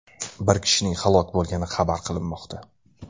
Bir kishining halok bo‘lgani xabar qilinmoqda.